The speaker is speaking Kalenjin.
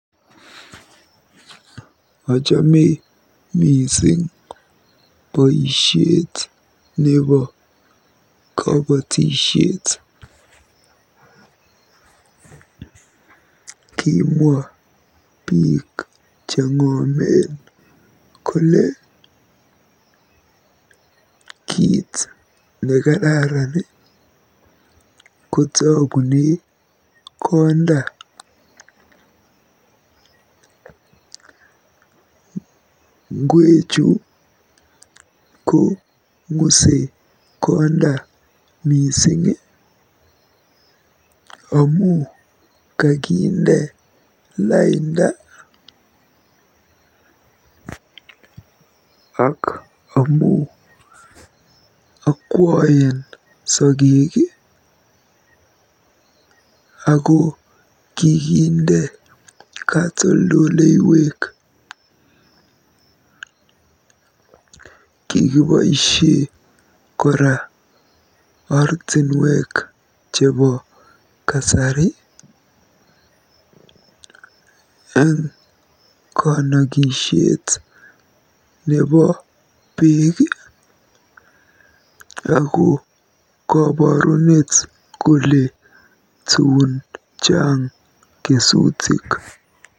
Ochome mising boisiet nebo kobotisiet. Kimwa biik cheng'omen kole kiit nekararan kotogune konda. Ngwechu kong'use konda mising amu kakinde lainda ako akwoen sogek ako kikinde katoldoleywek. Kikiboisie kora ortinwek chebo kasari eng konokishet nebo beek ako koborunet kole tun chaang kesutik.